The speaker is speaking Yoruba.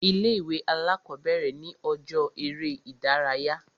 Ilé ìwé alákọ̀bẹ̀rẹ̀ ni ọjọ́ eré ìdárayá.